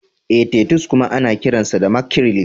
Ee, Titus kuma ana kiransa mackerel.